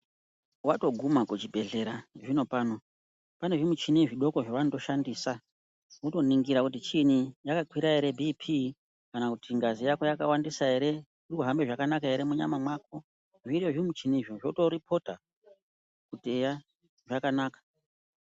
Watoguma kuchibhedhlera zvino pano, panezvimuchini zvidoko zvavanotoshandisa kutoningira kuti chini yakakwira here bhiphi kana kuti ngazi yako yakawandisa here, irikuhambe zvakanaka here munyama mako. Zviro zvimuchini zvozvo zoto rekhoda kuti eya, zvakanaka.